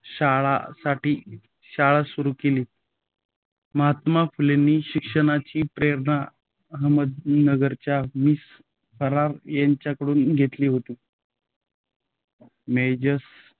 शाळा साठी शाळा सुरू केली. महात्मा फुलेंनी शिक्षणाची प्रेरणा अहमदनगरच्या मिस फरार यांच्याकडून घेतली होती. मेजर